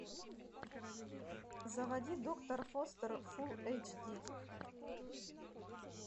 заводи доктор фостер фулл эйч ди